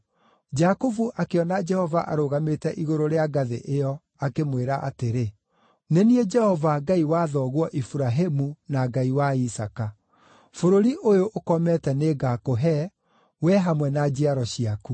Jakubu akĩona Jehova arũgamĩte igũrũ rĩa ngathĩ ĩyo akĩmwĩra atĩrĩ, “Nĩ niĩ Jehova, Ngai wa thoguo Iburahĩmu na Ngai wa Isaaka. Bũrũri ũyũ ũkomete nĩngakũhe, wee hamwe na njiaro ciaku.